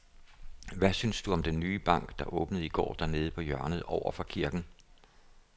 Hvad synes du om den nye bank, der åbnede i går dernede på hjørnet over for kirken?